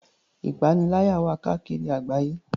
Ìpaniláyà wà káàkiri àgbáyé.